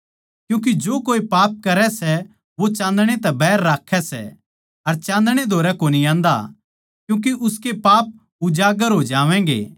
क्यूँके जो कोए पाप करै सै वो चान्दणै तै बैर राक्खै सै अर चान्दणै कै धोरै कोनी आन्दा क्यूँके उसके पाप उजागर हो जावैंगे